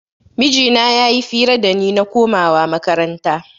Mijina ya yi fira da ni na komawa makaranta